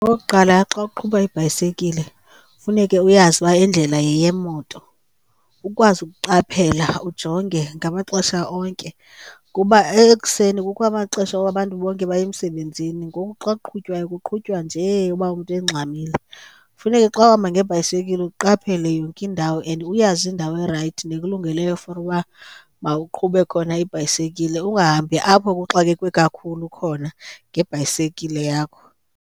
Okokuqala, xa uqhuba ibhayisekile funeke uyazi uba indlela yeyemoto, ukwazi ukuqaphela ujonge ngamaxesha onke. Kuba ekuseni kukho amaxesha woba abantu bonke baye emsebenzini, ngoku xa kuqhutywayo kuqhutywa nje uba umntu engxamile. Funeke xa uhamba ngebhayisekile uqaphele yonke indawo and uyazi indawo erayithi nekulungeleyo for uba mawuqhube khona ibhayisekile. Ungahambi apho kuxakekwe kakhulu khona ngebhayisekile yakho.